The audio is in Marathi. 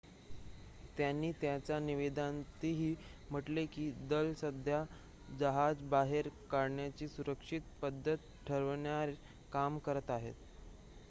"त्यांनी त्यांच्या निवेदनातही म्हटले की "दल सध्या जहाज बाहेर काढण्याची सुरक्षित पद्धत ठरवण्यावर काम करत आहे"".